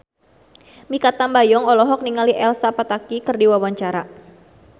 Mikha Tambayong olohok ningali Elsa Pataky keur diwawancara